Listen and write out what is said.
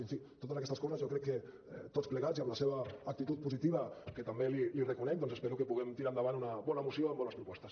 en fi totes aquestes coses jo crec que tots plegats i amb la seva actitud positiva que també li reconec doncs espero que puguem tirar endavant una bona moció amb bones propostes